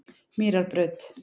Mýrarbraut